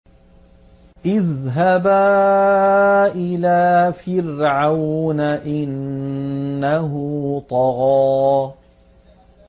اذْهَبَا إِلَىٰ فِرْعَوْنَ إِنَّهُ طَغَىٰ